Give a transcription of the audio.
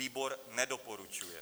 Výbor nedoporučuje.